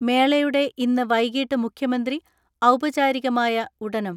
മേളയുടെ ഇന്ന് വൈകിട്ട് മുഖ്യമന്ത്രി ഔപചാരികമായ ഉടനം